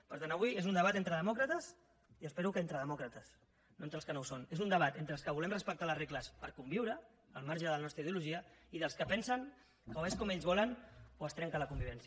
per tant avui és un debat entre demòcrates i espero que entre demòcrates no entre els que no ho són és un debat entre els que volem respectar les regles per conviure al marge de la nostra ideologia i dels que pensen que o és com ells volen o es trenca la convivència